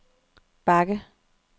bakke